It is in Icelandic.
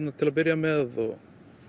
til að byrja með og